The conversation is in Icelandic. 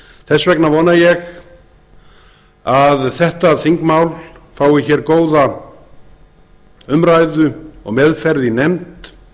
þess vegna vona ég að þetta þingmál fái hér góða umræðu og meðferð í nefnd